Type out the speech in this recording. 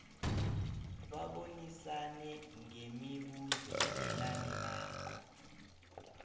babonisane ngemibuzo elandelako